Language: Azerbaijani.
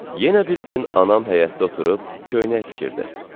Yenə bir gün anam həyətdə oturub köynək tikirdi.